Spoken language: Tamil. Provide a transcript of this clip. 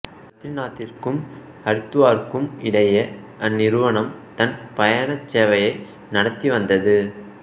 பத்ரிநாத்திற்கும் ஹரித்துவாருக்கும் இடையே அந்நிறுவனம் தன் பயணச் சேவையை நடத்தி வந்தது